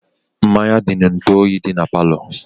Mmanya dị n'ntu oyi dị na palo